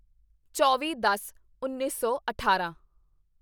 ਚੌਵੀਦਸਉੱਨੀ ਸੌ ਅਠਾਰਾਂ